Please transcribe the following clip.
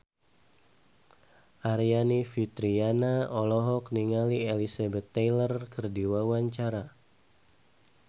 Aryani Fitriana olohok ningali Elizabeth Taylor keur diwawancara